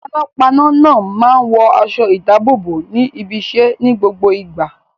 Panápaná náà máa ń wọ aṣọ-ìdáàbòbò ní ibiṣẹ́ ní gbogbo ìgbà.